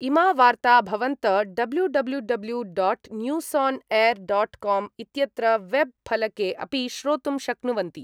इमा वार्ता भवन्त W W W dot news on air dot com इत्यत्र वेब् फलके अपि श्रोतुम् शक्नुवन्ति